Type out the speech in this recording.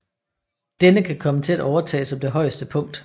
Denne kan komme til at overtage som det højeste punkt